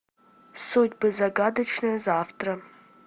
судьбы загадочное завтра